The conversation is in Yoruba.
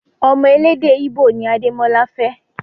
Ọmọ elédè íbò ni Adémọ́lá fẹ́